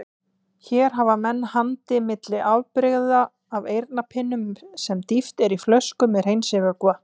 Hér hafa menn handa milli afbrigði af eyrnapinnum sem dýft er í flöskur með hreinsivökva.